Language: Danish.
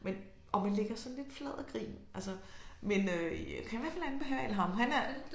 Men og man ligger sådan lidt flad af grin altså men øh jeg kan i hvert fald anbefale ham han er